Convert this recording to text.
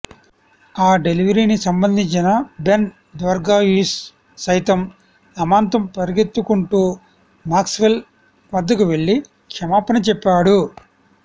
ఆ డెలివరీని సంధించిన బెన్ ద్వార్షుయిస్ సైతం అమాంతం పరిగెత్తుకుంటూ మ్యాక్స్వెల్ వద్దకు వెళ్లి క్షమాపణ చెప్పాడు